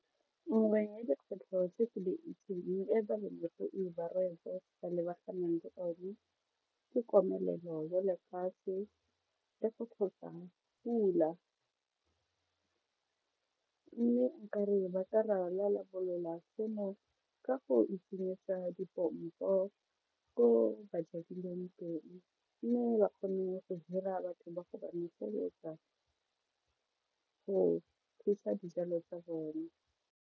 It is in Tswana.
Nngwe ya dikgwetlho tse ke di itseng e balemirui ba lebaganeng le one ke komelelo ya lefatshe le go tlhoka pula mme nka re ba ka rarabolola seno ka go itshenyetsa dipompo ko ba jadileng pele mme ba kgone go hira batho ba go ba noseletsa go kgweetsa dijalo tsa bone.